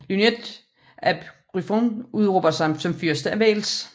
Llywelyn ap Gruffudd udråber sig som Fyrste af Wales